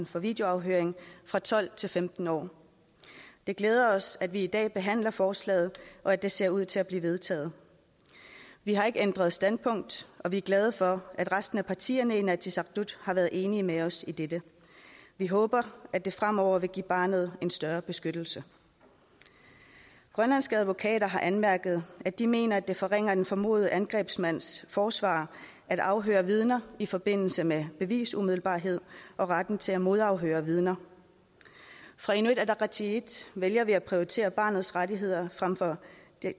for videoafhøring fra tolv til femten år det glæder os at vi i dag behandler forslaget og at det ser ud til at blive vedtaget vi har ikke ændret standpunkt og vi er glade for at resten af partierne i inatsisartut har været enige med os i dette vi håber at det fremover vil give barnet en større beskyttelse grønlandske advokater har anmærket at de mener at det forringer den formodede angrebsmands forsvar at afhøre vidner i forbindelse med bevisumiddelbarhed og retten til at modafhøre vidner fra inuit ataqatigiits vælger vi at prioritere barnets rettigheder frem for